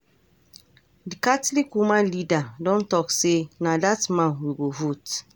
D catholic woman leader don talk say na that man we go vote.